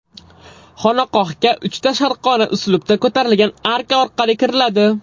Xonaqohga uchta sharqona uslubda ko‘tarilgan arka orqali kiriladi.